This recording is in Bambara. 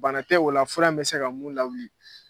Bana tɛ o la fura in bɛ se ka mun lawuli